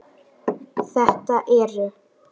Þetta eru